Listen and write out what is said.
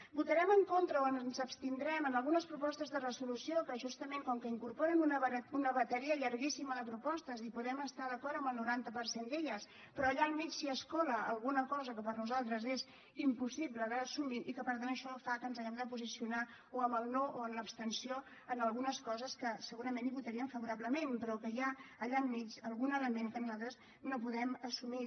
votarem en contra o ens abstindrem en algunes propostes de resolució que justament com que incorporen una bateria llarguíssima de propostes hi podem estar d’acord amb el noranta per cent d’elles però allà al mig s’hi escola alguna cosa que per nosaltres és impossible d’assumir i que per tant això fa que ens hàgim de posicionar o en el no o en l’abstenció en algunes coses que segurament hi votaríem favorablement però que hi ha allà enmig algun element que nosaltres no podem assumir